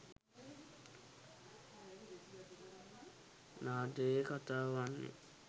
නාට්‍යයේ කථාව වන්නේ